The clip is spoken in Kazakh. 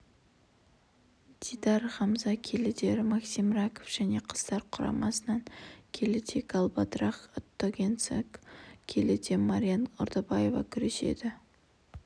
дидар хамза келіде максим раков және қыздар құрамасынан келіде галбадрах отгонцегцег келіде мариан ордабаева күреседі